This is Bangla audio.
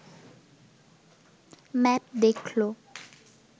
ম্যাপ দেখল